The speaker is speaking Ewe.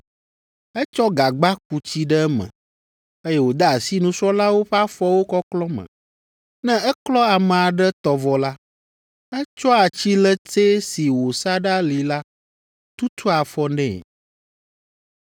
Etsɔ gagba ku tsi ɖe eme, eye wòde asi nusrɔ̃lawo ƒe afɔwo kɔklɔ me. Ne eklɔ ame aɖe tɔ vɔ la, etsɔa tsiletsɛ si wòsa ɖe ali la tutua afɔ nɛ.